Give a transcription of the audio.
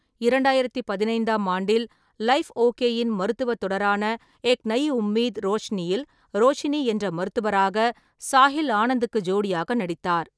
இரண்டாயிரத்து பதினைந்தாம் ஆண்டில், லைஃப் ஓகேயின் மருத்துவத் தொடரான ஏக் நயி உம்மீத் - ரோஷினியில் ரோஷினி என்ற மருத்துவராக சாஹில் ஆனந்துக்கு ஜோடியாக நடித்தார்.